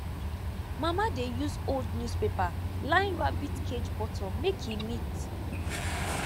mama dey use old newspaper line rabbit cage bottom make e neat